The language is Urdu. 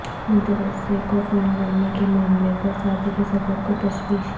مدرسے کو فنڈز دینے کے معاملے پر سابق صدر کو تشویش